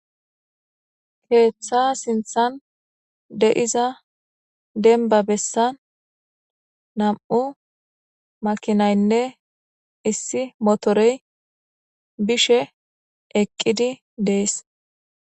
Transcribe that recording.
keeththa sinthan de7iza demba bessan nam7u makinaynne issi motorey bishe eqqidi dees